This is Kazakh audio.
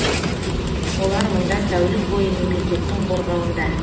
олар мұнда тәулік бойы мемлекеттің қорғауында